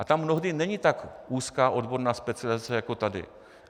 A tam mnohdy není tak úzká odborná specializace jako tady.